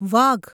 વાઘ